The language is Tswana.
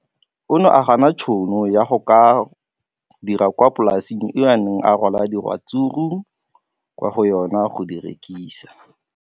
O ne a gana tšhono ya go dira kwa polaseng eo a neng rwala diratsuru kwa go yona go di rekisa.